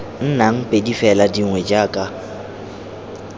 nnang pedi fela dingwe jaka